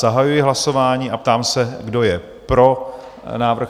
Zahajuji hlasování a ptám se, kdo je pro návrh?